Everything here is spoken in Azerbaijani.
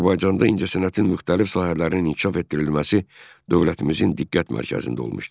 Azərbaycanda incəsənətin müxtəlif sahələrinin inkişaf etdirilməsi dövlətimizin diqqət mərkəzində olmuşdur.